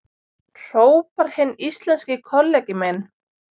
hrópar hinn íslenski kollegi minn.